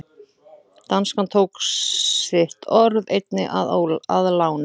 Danskan tók sitt orð einnig að láni.